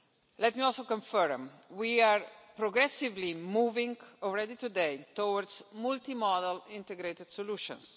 Let me also confirm that we are progressively moving, already, towards multimodal integrated solutions.